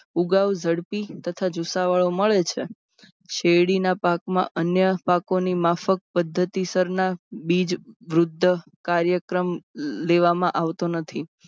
ઉગાવ ઝડપી તથા જુસ્સાવાલો મળે છે. શેરડીના પાક માં અન્ય પાકોની માફક પદ્ધતિ સરના બીજ વૃદ્ધ કાર્યક્રમ લેવામાં આવતો નથી.